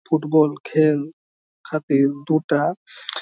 Football খেল খাটিঁ দুটা।